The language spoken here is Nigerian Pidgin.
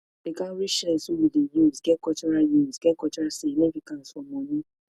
di cowrie shells wey we dey use get cultural use get cultural significance for money